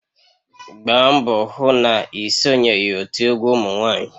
Gbaa mbọ hụ na ị sonyeghị otu egwu ụmụ nwanyị!